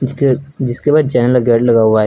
उसके जिसके बाद चैनल लगा हुआ है।